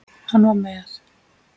Hann var með